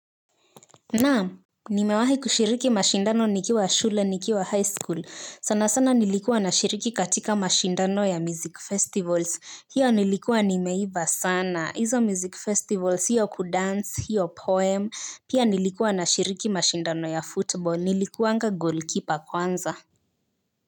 Naam. Nimewahi kushiriki mashindano nikiwa shule nikiwa high school sana sana nilikuwa nashiriki katika mashindano ya music festivals hiyo nilikuwa nimeiva sana hizo music festivals hiyo kudance hiyo poem pia nilikuwa nashiriki mashindano ya football nilikuwanga goalkeeper kwanza.